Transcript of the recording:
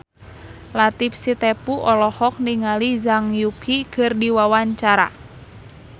Latief Sitepu olohok ningali Zhang Yuqi keur diwawancara